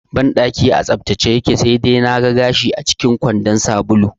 Banɗakin a tsaftace yake, sai dai na ga gashi acikin kwandon sabulu